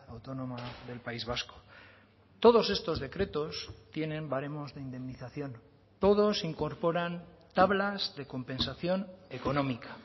autónoma del país vasco todos estos decretos tienen baremos de indemnización todos incorporan tablas de compensación económica